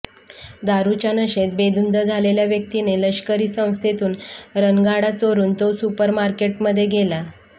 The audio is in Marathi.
दारूच्या नशेत बेधुंद झालेल्या व्यक्तीने लष्करी संस्थेतून रणगाडा चोरून तो सुपरमार्केटमध्ये गेला